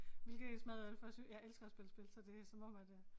Hvilket så meget øh for sø jeg elsker at spille spil så det som om at øh